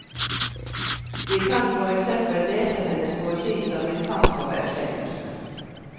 Vi kan for eksempel lese hennes poesi som en kamp for erkjennelse.